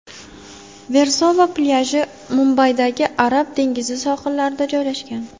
Versova plyaji Mumbaydagi Arab dengizi sohillarida joylashgan.